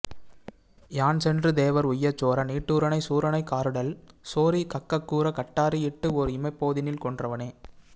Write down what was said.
யான் சென்று தேவர் உய்யச்சோர நிட்டூரனைச் சூரனைக் காருடல் சோரி கக்கக்கூர கட்டாரி இட்டு ஓர் இமைப்போதினில் கொன்றவனே